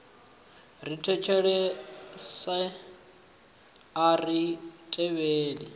ri thetshelesi a ri tevheli